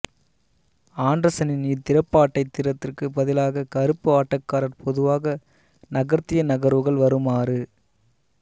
ஆண்டர்சனின் இத்திறப்பாட்டத்திற்கு பதிலாக கருப்பு ஆட்டக்காரர் பொதுவாக நகர்த்திய நகர்வுகள் வருமாறு